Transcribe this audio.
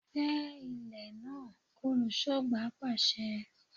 Gbẹ ilẹ̀ náà! Olùṣọ́gbà pàṣẹ.